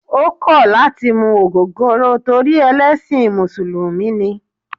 O kò̩ lati mu ogogoro torí ẹlẹ́sìn musulumi ni